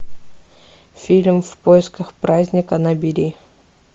фильм в поисках праздника набери